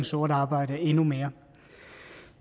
sort arbejde endnu mere